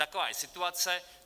Taková je situace.